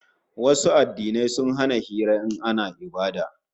Wasu addinai sun hana hira in ana ibada